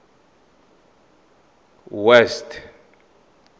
west